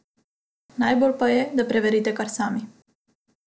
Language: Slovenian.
Najbolje pa je, da preverite kar sami.